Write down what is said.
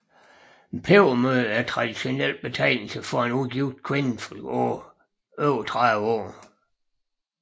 Pebermø er en traditionel betegnelse for en ugift kvinde over 30 år